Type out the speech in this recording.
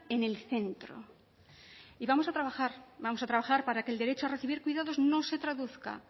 en el centro y vamos a trabajar vamos a trabajar para que el derecho a recibir cuidados no se traduzca